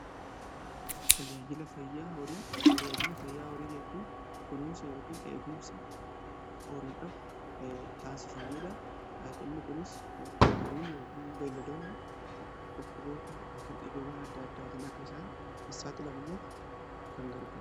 Tajaajila fayyaa horii jechuun kunuunsa yookiin eegumsa horiidhaf taasifamuudha. Inni kunis horiin yookiin beeledoonni dhukkuboota yookiin dhibeewwan adda addaatiin akka isaan saaxilamneef kan gargara.